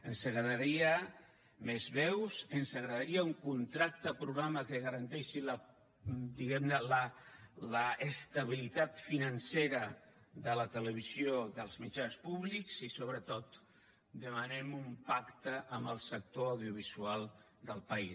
ens agradaria més veus ens agradaria un contracte programa que garanteixi diguem ne l’estabilitat financera de la televisió dels mitjans públics i sobretot demanem un pacte amb el sector audiovisual del país